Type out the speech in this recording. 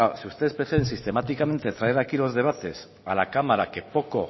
si ustedes pretenden sistemáticamente traer aquí los debates a la cámara que poco